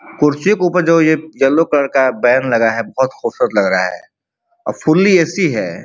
कुर्सियों के ऊपर जो ये येलो कलर का बैन लगा है बहोत खूबसूरत लग रहा है। A fully AC. है।